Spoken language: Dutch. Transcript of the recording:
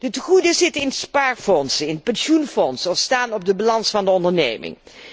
De tegoeden zitten in spaarfondsen, pensioenfondsen of staan op de balans van de onderneming.